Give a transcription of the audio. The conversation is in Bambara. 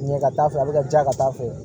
Ɲɛ ka taa fɛ a bɛ ka ja ka taa fɛ